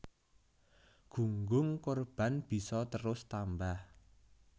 Gunggung korban bisa terus tambah